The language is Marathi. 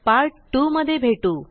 पार्ट 2 मधे भेटू